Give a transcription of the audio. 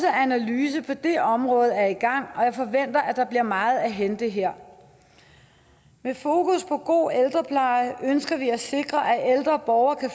analyse på det område er i gang og jeg forventer at der bliver meget at hente her med fokus på god ældrepleje ønsker vi at sikre at ældre borgere kan